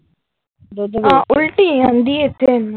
ਉਲਟੀ ਆਉਂਦੀ ਏਥੈ ਇਹਨੂੰ ।